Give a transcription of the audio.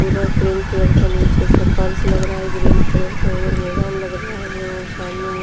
पूरा cream colour का नीचे से पर्स लग रहा है ग्रीन कलर का उधर मैदान लग रहा है और सामने वो--